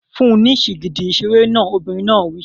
Fún un ní sìgìdì ìṣeré náà! Obìnrin náà wí.